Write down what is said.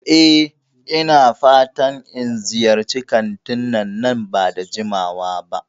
E, ina fatan in ziyarci kantin nan ba da jimawa ba.